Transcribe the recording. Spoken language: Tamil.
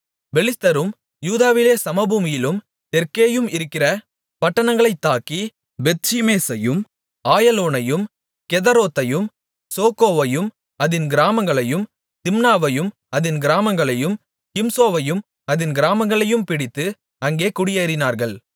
பெலிஸ்தரும் யூதாவிலே சமபூமியிலும் தெற்கேயும் இருக்கிற பட்டணங்களைத் தாக்கி பெத்ஷிமேசையும் ஆயலோனையும் கெதெரோத்தையும் சோக்கோவையும் அதின் கிராமங்களையும் திம்னாவையும் அதின் கிராமங்களையும் கிம்சோவையும் அதின் கிராமங்களையும் பிடித்து அங்கே குடியேறினார்கள்